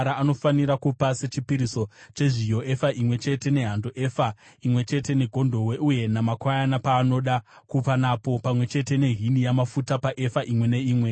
Anofanira kupa sechipiriso chezviyo efa imwe chete nehando, efa imwe chete negondobwe, uye namakwayana paanoda kupa napo, pamwe chete nehini yamafuta paefa imwe neimwe.